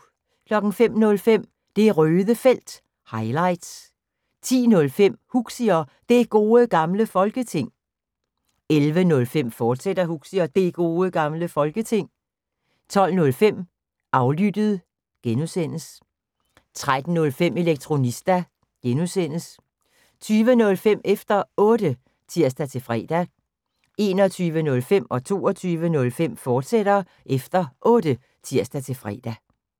05:05: Det Røde Felt – highlights 10:05: Huxi og Det Gode Gamle Folketing 11:05: Huxi og Det Gode Gamle Folketing, fortsat 12:05: Aflyttet (G) 13:05: Elektronista (G) 20:05: Efter Otte (tir-fre) 21:05: Efter Otte, fortsat (tir-fre) 22:05: Efter Otte, fortsat (tir-fre)